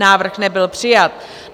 Návrh nebyl přijat.